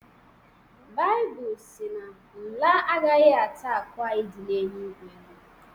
Baịbụl sị na nla agaghị ata akụ anyị dị n’eluigwe